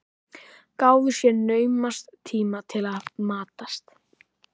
Gáfu sér naumast tíma til að matast.